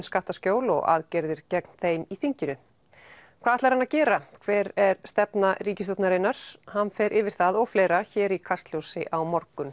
skattaskjól og aðgerðir gegn þeim í þinginu hvað ætlar hann að gera hver er stefna ríkisstjórnarinnar hann fer yfir það og fleira hér í Kastljósi á morgun